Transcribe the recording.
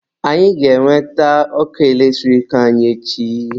Anyị ga-enweta ọkụ eletrik anyị echi.